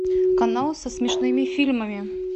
канал со смешными фильмами